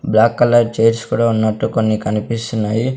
Black colour chairs కూడా ఉన్నట్టు కొన్ని కనిపిస్తున్నాయి.